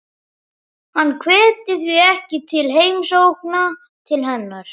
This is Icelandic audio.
Hann hvetur því ekki til heimsókna til hennar.